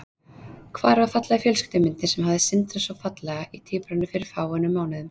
Hvar var fallega fjölskyldumyndin sem hafði sindrað svo fallega í tíbránni fyrir fáeinum mánuðum?